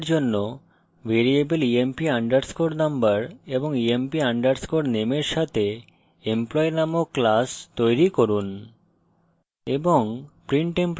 আত্ম মূল্যায়নের জন্য ভ্যারিয়েবল emp underscore number এবং emp underscore name for সাথে employee named class তৈরি করুন